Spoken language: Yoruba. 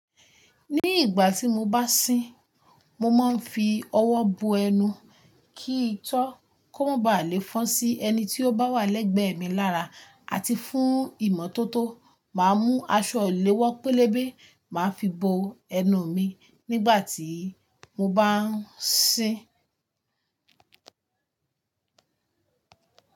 Ní ìgbà tí mo bá sín, mo máa ń fi ọwọ́ bo ẹnu kí n tó kó ma ba lè fọn sí ẹni tí ó bá wà lẹ́gbẹ̀ẹ́ mi lára, àti fún ìmọ́tótó máa mú aṣọ ìléwọ́ pélébé máa ń fi bo ẹnu mi nígbà tí mo bá ń sín.